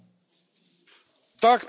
Tak, Panie Przewodniczący!